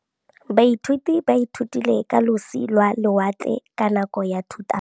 Baithuti ba ithutile ka losi lwa lewatle ka nako ya Thutafatshe.